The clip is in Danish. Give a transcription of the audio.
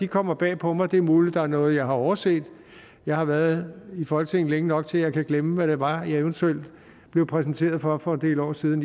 kommer bag på mig det er muligt at der er noget jeg har overset jeg har været i folketinget længe nok til at jeg kan glemme hvad det var jeg eventuelt blev præsenteret for for en del år siden